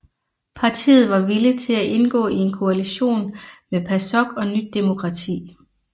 Partiet var villig til at indgå i en koalition med PASOK og Nyt demokrati